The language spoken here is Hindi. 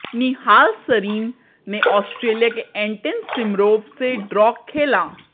निहाल सरीन ने ऑस्ट्रेलया के एंटन सिमरोव से ड्रॉ खेला